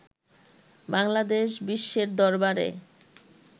বাংলাদেশ বিশ্বের দরবারে